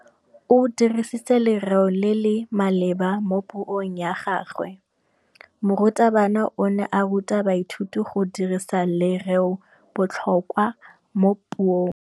O dirisitse lerêo le le maleba mo puông ya gagwe. Morutabana o ne a ruta baithuti go dirisa lêrêôbotlhôkwa mo puong.